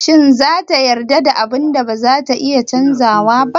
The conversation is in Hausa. Shin za ta yarda da abun da bazata iya canzawa ba?